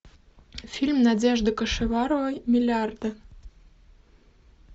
фильм надежды кашеваровой миллиарды